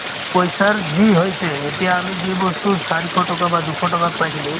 পইচাৰ যি হৈছে এতিয়া আমি যি বস্তু চৰিশ টকা বা দুশ টকাত পাইছিলো